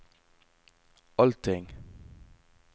allting